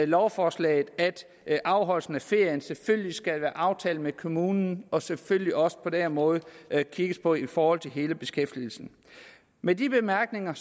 lovforslaget at afholdelsen af ferien selvfølgelig skal være aftalt med kommunen og selvfølgelig også på den måde kigges på i forhold til hele beskæftigelsen med de bemærkninger